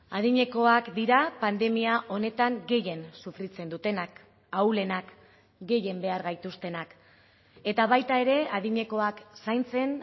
adinekoak dira pandemia honetan gehien sufritzen dutenak ahulenak gehien behar gaituztenak eta baita ere adinekoak zaintzen